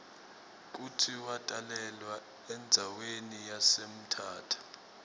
kutsi watalelwa endzawani yase mthatha